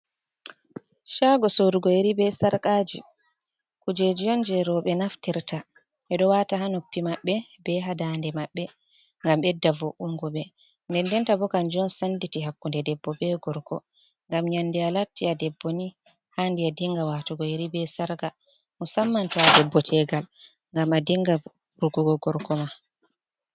Caago sorugo yeri be sarkaaji kuje on jey rowɓe naftirta, ɓe ɗo waata haa noppi maɓɓe, be haa ndaande maɓɓe, ngam ɓedda vo’ungo ɓe .Ndendenta bo kanjum on sennditi hakkunde debbo be gorko. Ngam nyannde a latti a debbo ni haandi a dinnga waatugo yeri be sarka ,musamman to a debbo teegal ngam a dinnga burgugo gorko ma.